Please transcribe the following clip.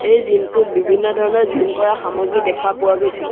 এই জিম টোত বিভিন্ন ধৰণৰ জিম কৰা সামগ্ৰী দেখা পোৱা গৈছে।